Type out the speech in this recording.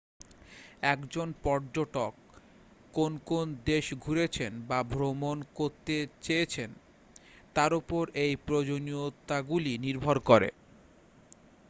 একজন পর্যটক কোন কোন দেশ ঘুরেছেন বা ভ্রমণ করতে চলেছেন তার উপর এই প্রয়োজনীয়তাগুলি নির্ভর করে